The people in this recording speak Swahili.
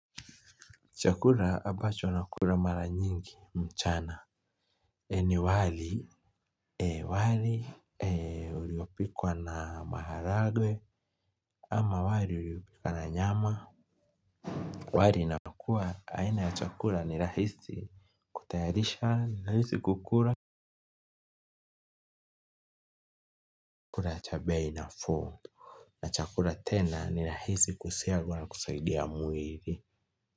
Chakula ambacho nakula mara nyingi mchana ni wali wali uliopikwa na maharagwe ama wali uliopikwa na nyama wali inapokuwa aina ya chakula ni rahisi kutayarisha ni rahisi kukula cha bei nafuu na chakula tena ni rahisi kusiagwa na kusaidia mwili.